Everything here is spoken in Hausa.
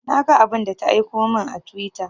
Na ga abun da ta aiko mun a twitter